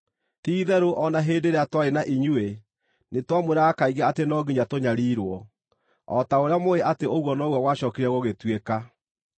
Ti-itherũ o na hĩndĩ ĩrĩa twarĩ na inyuĩ nĩtwamwĩraga kaingĩ atĩ no nginya tũnyariirwo. O ta ũrĩa mũũĩ atĩ ũguo noguo gwacookire gũgĩtuĩka.